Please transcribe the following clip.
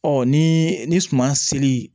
Ɔ ni ni suman seli